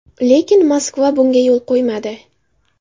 Lekin Moskva bunga yo‘l qo‘ymadi.